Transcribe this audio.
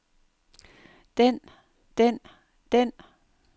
den den den